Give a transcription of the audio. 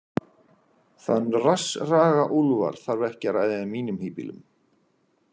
Þann rassraga Úlfar þarf ekki að ræða í mínum híbýlum.